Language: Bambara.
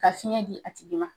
Ka fiɲɛ di a tigi ma